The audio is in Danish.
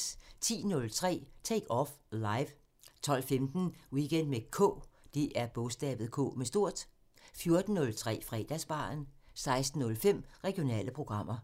10:03: Take Off Live 12:15: Weekend med K 14:03: Fredagsbaren 16:05: Regionale programmer